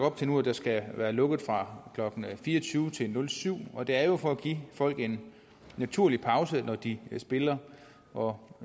op til nu at der skal være lukket fra klokken fire og tyve til nul syv nul og det er jo for at give folk en naturlig pause når de spiller og